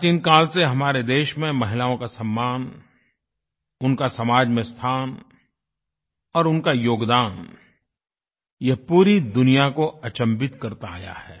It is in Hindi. प्राचीन काल से हमारे देश में महिलाओं का सम्मान उनका समाज में स्थान और उनका योगदान यह पूरी दुनिया को अचंभित करता आया है